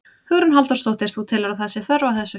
Hugrún Halldórsdóttir: Þú telur að, að það sé þörf á þessu?